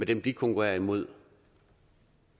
dem de konkurrerer imod